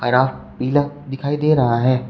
हरा पीला दिखाई दे रहा है।